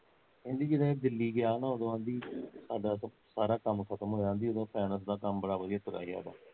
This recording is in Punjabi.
ਕਹਿੰਦੀ ਜਦੋਂ ਉਹ ਦਿੱਲੀ ਗਿਆ ਨਾ ਉਦੋਂ ਕਹਿੰਦੀ, ਸਾਡਾ ਸਾਰਾ ਕੰਮ ਖਤਮ ਹੋਇਆ ਕਹਿੰਦੀ ਉਦੋਂ ਫੇਨਸ ਦਾ ਕੰਮ ਬੜਾ ਵਧੀਆ ਤੁਰਿਆ ਸੀ ਸਾਡਾ